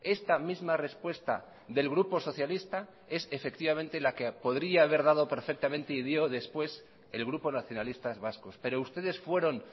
esta misma respuesta del grupo socialista es efectivamente la que podría haber dado perfectamente y digo después el grupo nacionalistas vascos pero ustedes fueron